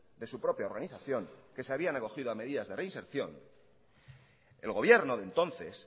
de su propia organización que se habían acogido a medidas de reinserción el gobierno de entonces